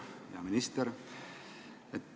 Hea minister!